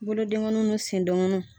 Bolo dengonuw ni sen dengonuw.